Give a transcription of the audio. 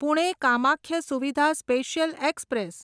Pune Kamakhya Suvidha special express